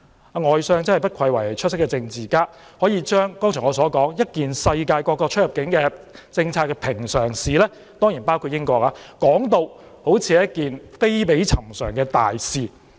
外相不愧為出色政治家，可以把我剛才指出一件世界各國——當然包括英國——出入境政策的平常事，說成好像是一件非比尋常的大事。